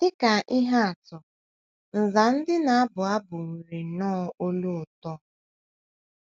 Dị ka ihe atụ, nza ndị na - abụ abụ nwere nnọọ olu ụtọ.